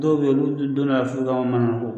Dɔw bɛ yen olu donna yan f'u ka manamana ko.